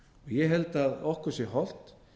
ég held að okkur sé hollt